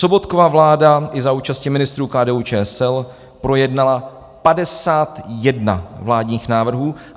Sobotkova vláda i za účasti ministrů KDU-ČSL projednala 51 vládních návrhů.